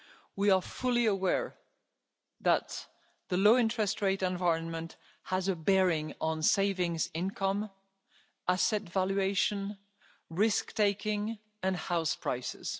We are fully aware that the low interest rate environment has a bearing on savings income, asset valuation, risk taking and house prices.